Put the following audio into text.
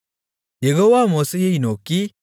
யெகோவா மோசேயை நோக்கி